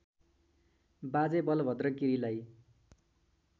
बाजे बलभद्र गिरीलाई